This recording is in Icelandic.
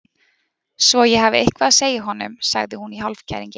Svo ég hafi eitthvað að segja honum, sagði hún í hálfkæringi.